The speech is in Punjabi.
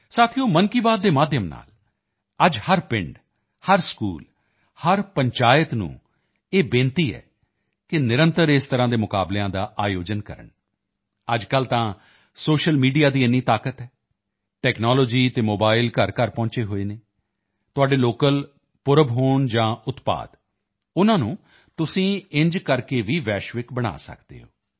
ਸਾਥੀਓ ਮਨ ਕੀ ਬਾਤ ਦੇ ਮਾਧਿਅਮ ਨਾਲ ਅੱਜ ਹਰ ਪਿੰਡ ਹਰ ਸਕੂਲ ਹਰ ਪੰਚਾਇਤ ਨੂੰ ਇਹ ਬੇਨਤੀ ਹੈ ਕਿ ਨਿਰੰਤਰ ਇਸ ਤਰ੍ਹਾਂ ਦੀਆਂ ਪ੍ਰਤੀਯੋਗਿਤਾਵਾਂ ਦਾ ਆਯੋਜਨ ਕਰਨ ਅੱਜਕੱਲ੍ਹ ਤਾਂ ਸੋਸ਼ੀਅਲ ਮੀਡੀਆ ਦੀ ਇਤਨੀ ਤਾਕਤ ਹੈ ਟੈਕਨਾਲੋਜੀ ਅਤੇ ਮੋਬਾਈਲ ਘਰਘਰ ਪਹੁੰਚੇ ਹੋਏ ਹਨ ਤੁਹਾਡੇ ਲੋਕਲ ਪਰਵ ਹੋਣ ਜਾਂ ਪ੍ਰੋਡਕਟ ਉਨ੍ਹਾਂ ਨੂੰ ਤੁਸੀਂ ਅਜਿਹਾ ਕਰਕੇ ਭੀ ਗਲੋਬਲ ਬਣਾ ਸਕਦੇ ਹੋ